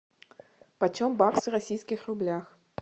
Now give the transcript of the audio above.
почем бакс в российских рублях